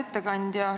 Hea ettekandja!